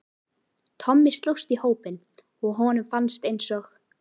Tommi slóst í hópinn og honum fannst eins og